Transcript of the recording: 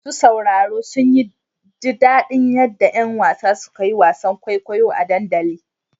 Masu sauraro sun ji daɗin yadda ƴan wasan suka yi wasan kwaikwayo a dandalin.